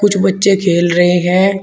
कुछ बच्चे खेल रहे हैं।